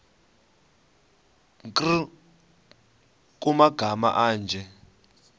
nkr kumagama anje